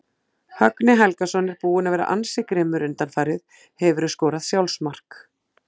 Högni Helgason er búinn að vera ansi grimmur undanfarið Hefurðu skorað sjálfsmark?